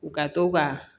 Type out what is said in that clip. U ka to ka